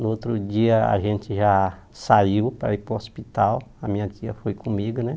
No outro dia a gente já saiu para ir para o hospital, a minha tia foi comigo, né?